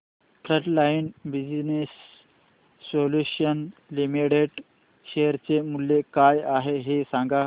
frontline Business Solutions Limited share चे मूल्य काय आहे हे सांगा